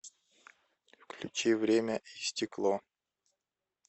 включи время и стекло